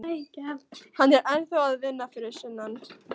Hann er ennþá að vinna fyrir sunnan.